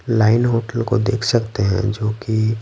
line hotel को देख सकते हैं जोकि--